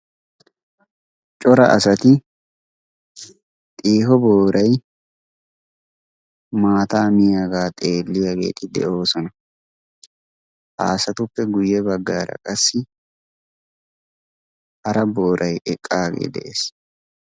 Cora asati xiiho booray maata miyaaga xeeliyaageeti de'oosona. ha asatuppe guyye baggar qassi maata miyaa booray eqqagee de'ees.